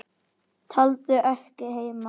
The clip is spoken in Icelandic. Tolldu ekki heima.